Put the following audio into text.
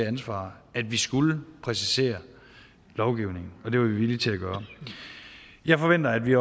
ansvar at vi skulle præcisere lovgivningen og det var vi villige til at gøre jeg forventer at vi